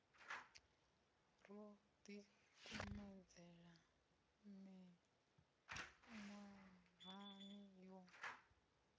ro ḓi kumedzela miṅwahani yo